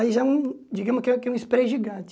Aí já é um, digamos que é que é um spray gigante.